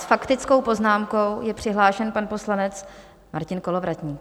S faktickou poznámkou je přihlášen pan poslanec Martin Kolovratník.